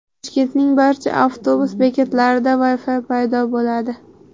Toshkentning barcha avtobus bekatlarida Wi-Fi paydo bo‘ladi.